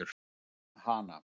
Bar hana